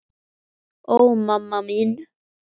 Ó, mamma mín.